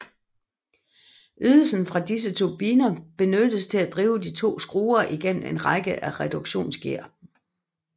Ydelsen fra disse turbiner benyttes til at drive de to skruer igennem en række af reduktionsgear